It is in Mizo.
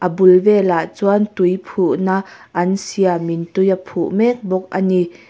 abul velah chuan tui phuhna an siamin tui a phuh mek bawk ani.